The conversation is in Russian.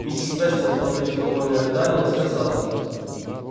миссис вестон подавив невольное рыдание сказала